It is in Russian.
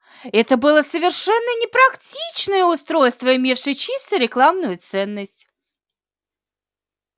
это было совершенно непрактичное устройство имевшее чисто рекламную ценность